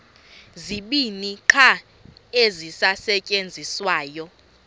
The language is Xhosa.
zibini qha ezisasetyenziswayo